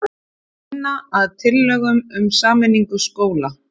Vinna að tillögum um sameiningu skóla